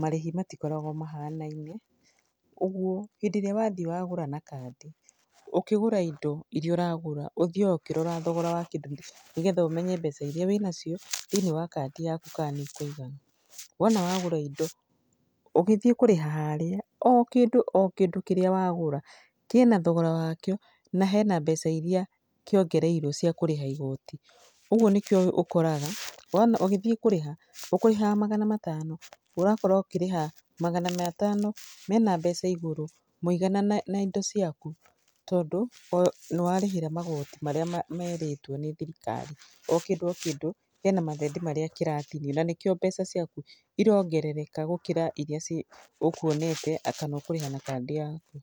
marĩhi matikoragwo mahanaine, ũguo, hĩndĩ ĩrĩa wathiĩ wagũra na kandi, ũkĩgũra indo iria ũragũra, ũthiaga ũkĩroraga thogora wa kĩndũ kĩu nĩgetha ũmenye mbeca iria wĩnacio thĩiniĩ wa kandi yaku kana nĩ ikũigana . Wona wagũra indo, ũgĩthiĩ kũrĩha harĩa, o kĩndũ o kĩndũ kĩrĩa wagũra kĩna thogora wakĩo na hena mbeca iria kĩongereirwo cia kũrĩha igoti. Ũguo nĩkĩo ũkoraga, wona ũgĩthiĩ kũrĩha, ũkũrĩhaga magana matano, ũrakora ũkĩrĩha magana matano mena mbeca igũrũ mũigana na indo ciaku tondũ nĩwarĩhĩra magoti marĩa merĩtwo nĩ thirikari. O kĩndũ o kĩndũ, hena mathendi marĩa kĩratinio na nĩ kĩo mbeca ciaku irongerereka gũkĩra iria ũkuonete kana ũkũrĩhaga na kandi yaku.